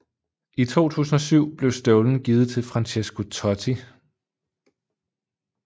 I 2007 blev støvlen givet til Francesco Totti